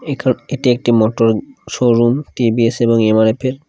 এখা এটি একটি motor showroom T V S এবং এম আর এফ এর ।